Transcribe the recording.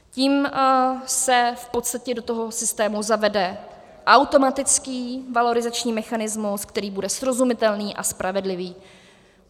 Tím se v podstatě do toho systému zavede automatický valorizační mechanismus, který bude srozumitelný a spravedlivý.